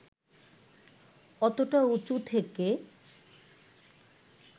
অতটা উঁচু থেকে